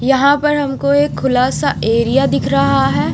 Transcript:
यहाँ पर हमको ये खुलासा एरिया दिख रहा है।